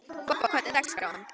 Bobba, hvernig er dagskráin?